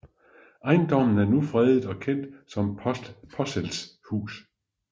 Ejendommen er nu fredet og kendt som Posselts Hus